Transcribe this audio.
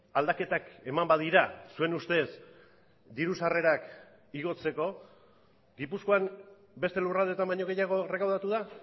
aldaketak eman badira zuen ustez diru sarrerak igotzeko gipuzkoan beste lurraldeetan baino gehiago errekaudatu da